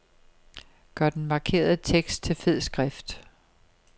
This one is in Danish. Gør den markerede tekst til fed skrift.